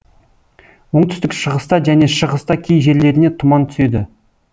оңтүстік шығыста және шығыста кей жерлеріне тұман түседі